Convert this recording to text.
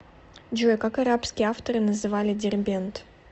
джой как арабские авторы называли дербент